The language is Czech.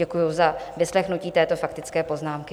Děkuju za vyslechnutí této faktické poznámky.